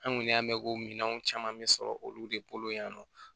An kɔni y'an mɛ ko minanw caman bɛ sɔrɔ olu de bolo yan nɔ